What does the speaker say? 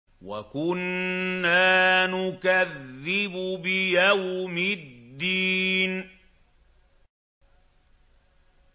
وَكُنَّا نُكَذِّبُ بِيَوْمِ الدِّينِ